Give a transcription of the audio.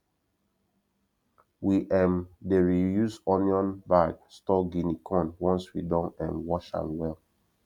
we um dey reuse onion bag store guinea corn once we don um wash am well